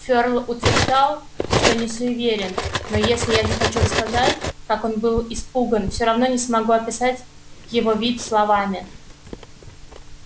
ферл утверждал что не суеверен но если я захочу рассказать как он был испуган всё равно не смогу описать его вид словами